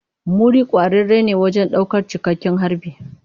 Muri kwararre ne wajen daukar cikakken harbi.